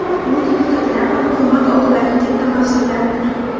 Bu deputatlar va hukumat oldidagi katta mas’uliyatdir.